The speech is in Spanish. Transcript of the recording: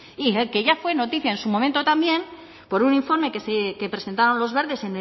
y el que ya fue noticia en su momento también por un informe que presentaban los verdes